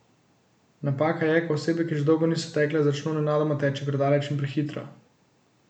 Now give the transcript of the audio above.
Napaka je, ko osebe, ki že dolgo niso tekle, začno nenadoma teči predaleč in prehitro.